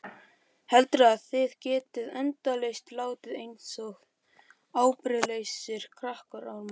Heldurðu að þið getið endalaust látið einsog ábyrgðarlausir krakkaormar?